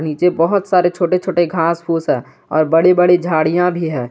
नीचे बहुत सारे छोटे छोटे घास फूस है और बड़ी बड़ी झाड़ियां भी है।